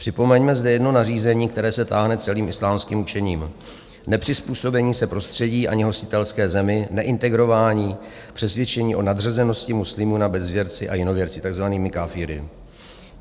Připomeňme zde jedno nařízení, které se táhne celým islámským učením: nepřizpůsobení se prostředí ani hostitelské zemi, neintegrování, přesvědčení o nadřazenosti muslimů nad bezvěrci a jinověrci, takzvanými káfiry.